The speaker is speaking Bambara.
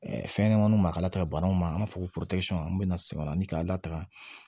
fɛn ɲɛnɛmaninw ma ka lataga banaw ma an b'a fɔ ko an bɛ sɛgɛn na k'an lataaga